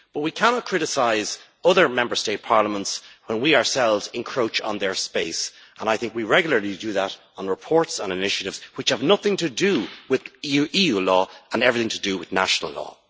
We cannot criticise other Member State parliaments when we ourselves encroach on their space, and I think we regularly do that in reports and initiatives which have nothing to do with EU law and everything to do with national law.